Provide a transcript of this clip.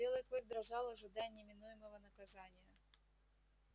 белый клык дрожал ожидая неминуемого наказания